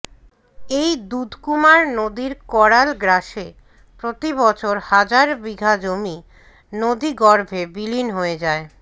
এই দুধকুমার নদীর কড়াল গ্রাসে প্রতি বছর হাজার বিঘা জমি নদী গর্ভে বিলীন হয়ে যায়